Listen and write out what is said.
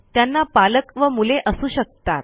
त्यांना पालक व मुले असू शकतात